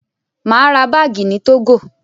Mà á ra báágì ní Tógò.